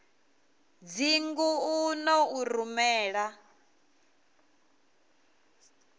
dzingu u ḓo u rumela